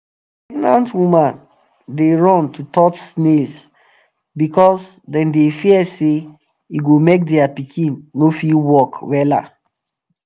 pregnant women dey run to touch snails because them dey fear say e go make their pikin no fit talk wella.